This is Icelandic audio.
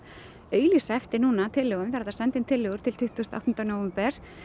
auglýsa eftir tillögum er hægt að senda inn tillögur til tuttugasta og áttunda nóvember